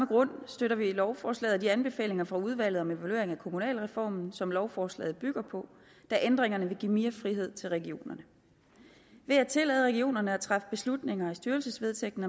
grund støtter vi lovforslaget og de anbefalinger fra udvalget om evaluering af kommunalreformen som lovforslaget bygger på da ændringerne vil give mere frihed til regionerne ved at tillade regionerne at træffe beslutninger i styrelsesvedtægten